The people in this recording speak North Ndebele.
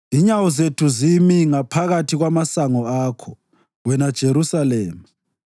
Inyawo zethu zimi ngaphakathi kwamasango akho, wena Jerusalema.